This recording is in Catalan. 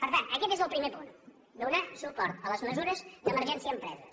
per tant aquest és el primer punt donar suport a les mesures d’emergència empreses